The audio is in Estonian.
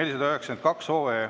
492.